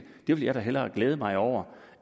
det ville jeg da hellere glæde mig over